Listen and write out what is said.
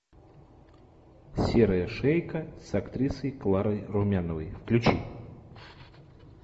серая шейка с актрисой кларой румяновой включи